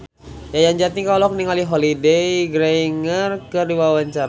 Yayan Jatnika olohok ningali Holliday Grainger keur diwawancara